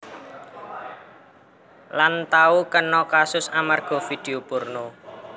Lan tau kena kasus amarga vidio porno